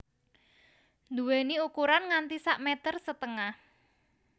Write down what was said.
Duweni ukuran nganti sak meter setengah